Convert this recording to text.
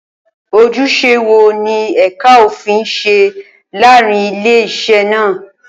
Ojúṣe wo ni ẹ̀ka òfin ń ṣe láàárín ilé-iṣẹ́ náà?